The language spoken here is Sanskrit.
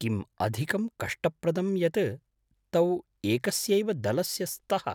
किम् अधिकं कष्टप्रदं यत् तौ एकस्यैव दलस्य स्तः।